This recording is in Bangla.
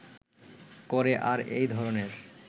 করে আর এই ধরনের